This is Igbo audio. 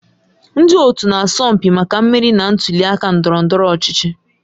Ndị otu na-asọ mpi maka mmeri na ntuli aka ndọrọ ndọrọ ọchịchị.